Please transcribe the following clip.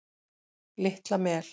Litla Mel